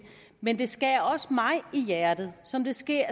men det skærer også mig i hjertet som det skærer